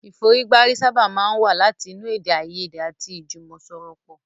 Ìfọ̀rígbárí sábà máa ń wá láti inú èdè àìyèdè àti ìjùmọ̀sọ̀rọ̀pọ̀.